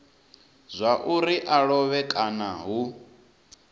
zwauri a lovhe kana hu